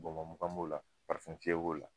Bɔnbɔn mugan b'o la parifɛn fiyɛ b'o la